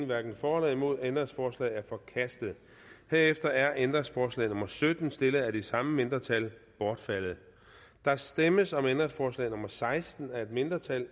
hverken for eller imod ændringsforslaget er forkastet herefter er ændringsforslag nummer sytten stillet af det samme mindretal bortfaldet der stemmes om ændringsforslag nummer seksten af et mindretal